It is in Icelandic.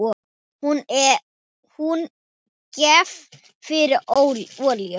Hún gekk fyrir olíu.